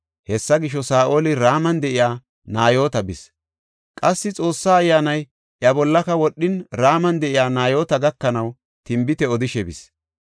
Hessa gisho, Saa7oli Raman de7iya Nayoota bis; qassi Xoossa Ayyaanay iya bollaka wodhin, Raman de7iya Nayoota gakanaw tinbite odishe bis.